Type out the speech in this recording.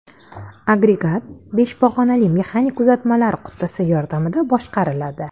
Agregat besh pog‘onali mexanik uzatmalar qutisi yordamida boshqariladi.